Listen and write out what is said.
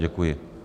Děkuji.